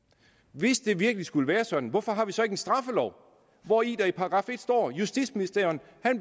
hvis det virkelig skulle være sådan hvorfor har vi så ikke en straffelov hvori der i § en står justitsministeren